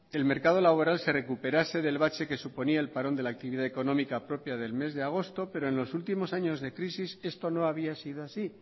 el mercado laboral se recuperase del bache que suponía el parón de la actividad económica propia del mes de agosto pero en los últimos años de crisis esto no había sido así